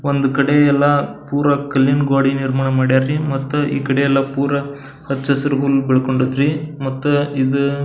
ಒಂದು ಕಡೆ ಎಲ್ಲ ಪುರ ಕಲ್ಲಿನ ಗೋಡಿ ನಿರ್ಮಾಣ ಮಡ್ಯಾರ್ ರೀ ಮತ್ ಈ ಕಡೆ ಎಲ್ಲ ಪುರ ಹಚ್ಚ ಹಸಿರು ಹುಲ್ಲು ಬೆಳಕೊಂಡದ್ ರೀ ಮತ್ ಇದು --